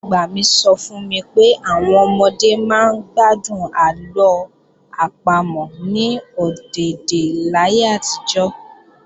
Ìyá-àgbà mi sọ fún mi pé àwọn ọmọdé máa ń gbádùn àlọ́ àpamọ̀ ní ọ̀dèdè láyé àtijọ́